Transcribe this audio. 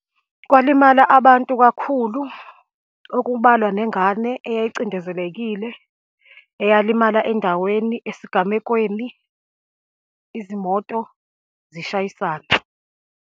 Kwalimala abantu kakhulu, okubalwa nengane eyayicindezelekile, eyalimala endaweni esigamekweni, izimoto zishayisana.